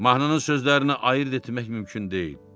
Mahnının sözlərini ayırd etmək mümkün deyildi.